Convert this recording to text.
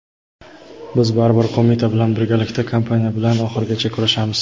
biz baribir qo‘mita bilan birgalikda kompaniya bilan oxirigacha kurashamiz.